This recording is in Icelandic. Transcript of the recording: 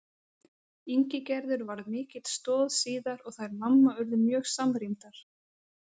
Ingigerður varð mikil stoð síðar og þær mamma urðu mjög samrýmdar.